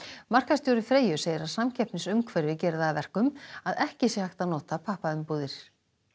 markaðsstjóri Freyju segir að samkeppnisumhverfið geri það að verkum að ekki sé hægt að nota pappaumbúðir